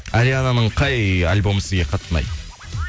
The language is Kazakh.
ариананың қай альбомы сізге қатты ұнайды